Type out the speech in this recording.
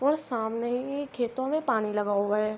اور سامنے ہی کھیتو مے پانی لگا ہوا ہے۔